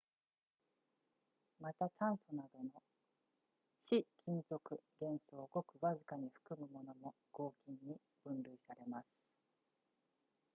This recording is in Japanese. また炭素などの非金属元素をごくわずかに含むものも合金に分類されます